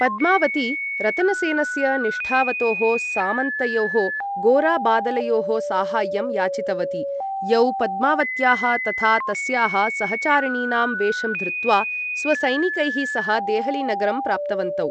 पद्मावती रतनसेनस्य निष्ठावतोः सामन्तयोः गोरा बादलयोः साहाय्यं याचितवती, यौ पद्मावत्याः तथा तस्याः सहचारिणीनां वेषं धृत्वा स्वसैनिकैः सह देहलीनगरं प्राप्तवन्तौ।